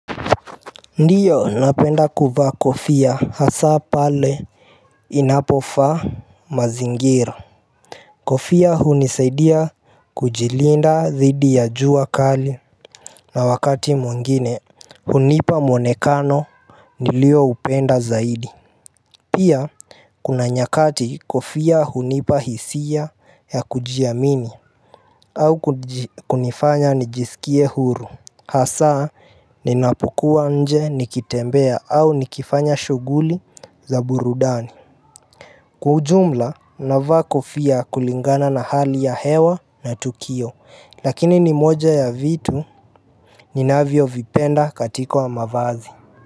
Ndiyo napenda kuvaa kofia hasa pale inapofa mazingira Kofia hunisaidia kujilinda dhidi ya jua kali na wakati mwengine hunipa muonekano nilio upenda zaidi Pia kuna nyakati kofia hunipa hisia ya kujiamini au kuji kunifanya nijisikie huru Hasaa ninapukua nje nikitembea au nikifanya shughuli za burudani Kwa ujumla navaa kufia kulingana na hali ya hewa na tukio Lakini ni moja ya vitu ninavyo vipenda katiko wa mavazi.